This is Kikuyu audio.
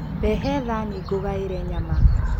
Rehe thaanĩ ngũgaĩre nyama.